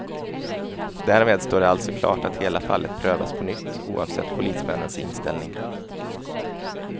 Därmed står det alltså klart att hela fallet prövas på nytt oavsett polismännens inställning.